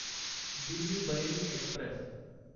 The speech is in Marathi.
दिल्ली बरेली एक्स्प्रेस